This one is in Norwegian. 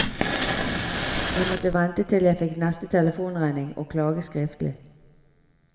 Jeg måtte vente til jeg fikk neste telefonregning og klage skriftlig.